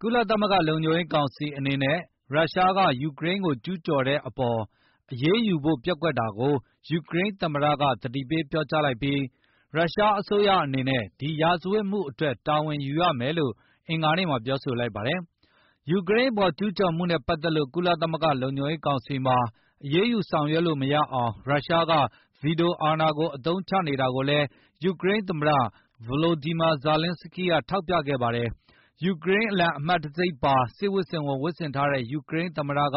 ကုလသမဂ္ဂ လုံခြုံရေးကောင်စီအနေနဲ့ ရုရှားက ယူကရိန်းကို ကျူးကျော်တဲ့အပေါ်အရေး ယူဖို့ပျက်ကွက်တာကို ယူကရိန်းသမ္မတက သတိပေးပြောကြားလိုက်ပြီး၊ ရုရှားအစိုးရအနေနဲ့ ဒီရာဇဝတ်မှုအတွက် တာဝန်ယူရမယ်လို့ အင်္ဂါနေ့မှာ ပြောဆိုလိုက်ပါတယ်။ ယူကရိန်းအပေါ် ကျုးကျော်မှုနဲ့ ပတ်သက်လို့ ကုလသမဂ္ဂ လုံခြုံရေးကောင်စီမှာ အရေးယူဆောင်ရွက်လို့ မရအောင် ရုရှားနိုင်ငံက ဗွီတိုအာဏာကို အသုံးချနေတာကိုလည်း ယူကရိန်းသမ္မတ Volodymyr Zelenskyy ကထောက်ပြခဲ့တာပါ။ ယူကရိန်းအလံ အမှတ်တံဆိပ်ပါတဲ့ စစ်ဝတ်စုံဝတ်ဆင်ထားတဲ့ ယူကရိန်းသမ္မတက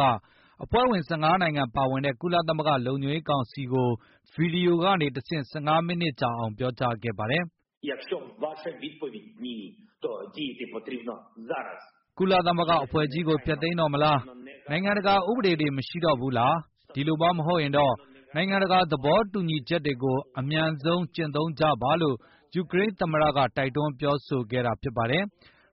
အဖွဲ့ဝင် ၁၅ နိုင်ငံပါဝင်တဲ့ ကုလသမဂ္ဂလုံခြုံရေးကောင်စီကို ဗွီဒီယိုကနေတဆင့် ၁၅ မီးနစ်ကြာ ပြောကြားခဲ့ပါတယ်။ "ကုလသမဂ္ဂအဖွဲ့ကြီးကို ဖျက်သိမ်းတော့မလား၊ နိုင်ငံတကာ ဥပဒေတွေ မရှိတော့ဘူးလား၊ ဒီလိုမှ မဟုတ်ရင်တော့၊ နိုင်ငံတကာ သဘောတူညီချက်တွေကို အမြန်ဆုံး ကျင့်သုံးကြပါ။" လို့ ယူကရိန်းသမ္မတက တိုက်တွန်းပြောဆိုလိုက်တာပါ။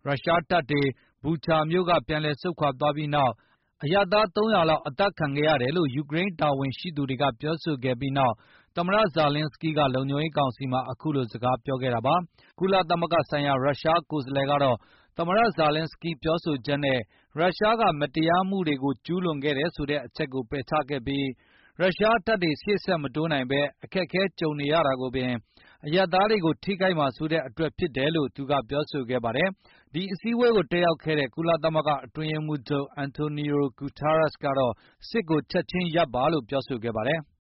ရုရှားတပ်တွေ Bucha မြို့ကပြန်ဆုတ်သွားပြီးနောက်၊ အရပ်သား ၃၀၀ လောက် အသတ်ခံခဲ့ရတယ်လို့ ယူကရိန်း တာဝန်ရှိသူတွေက ပြောဆိုခဲ့ပြီးနောက် သမ္မတ Volodymyr Zelenskyy က လုံခြုံရေးကောင်စီမှာ အခုလိုစကားပြောခဲ့တာပါ။ ကုလသမဂ္ဂဆိုင်ရာ ရုရှားကိုယ်စားလှယ်ကတော့ သမ္မတ Volodymyr Zelenskyy ပြောဆိုချက်နဲ ရုရှားက မတရားမှုတွေကိုကျူးလွန်ခဲ့တယ်တဲ့ အချက်ကိုပယ်ချခဲ့ပြီး၊ ရုရှားတပ်တွေရှေ့ဆက်မတိုးနိုင်ပဲ အခက်အခဲကြုံနေရတာကိုပင်၊ အရပ်သားတွေကို ထိခိုက်မှာစိုးတဲ့အတွက်ဖြစ်တယ်လို့ သူကပြောဆိုခဲ့ပါတယ်။ ဒီအစည်းအဝေးကို တက်ရောက်ခဲ့တဲ့ ကုလသမဂ္ဂအတွင်းရေးမှုးချုပ် Antonio Guterres ကတော့ စစ်ကိုချက်ခြင်းရပ်ပါလို့ ပြောဆိုခဲ့ပါတယ်။